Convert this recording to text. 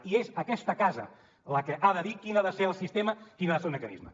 i és aquesta casa la que ha de dir quin ha de ser el sistema quin ha de ser el mecanisme